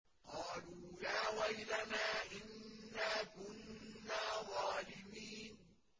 قَالُوا يَا وَيْلَنَا إِنَّا كُنَّا ظَالِمِينَ